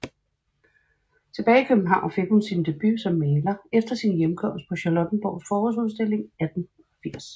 Tilbage i København fik hun sin debut som maler efter sin hjemkomst på Charlottenborgs Forårsudstilling 1880